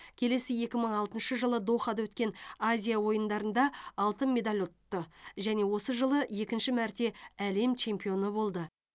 келесі екі мың алтыншы жылы дохада өткен азия ойындарында алтын медаль ұтты және осы жылы екінші мәрте әлем чемпионы болды